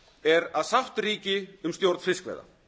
er að sátt ríki um stjórn fiskveiða